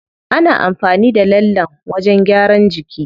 Ana amfani da lallen wajen gyaran jiki.